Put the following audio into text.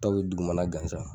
Dɔw bi dugumana gansan